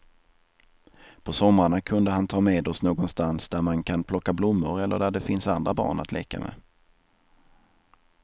På somrarna kunde han ta med oss någonstans där man kan plocka blommor eller där det finns andra barn att leka med.